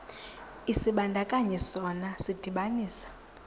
isibandakanyi sona sidibanisa